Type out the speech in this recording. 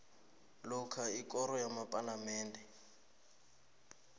lokha ikoro yepalamende